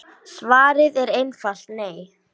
Svarið er einfalt nei.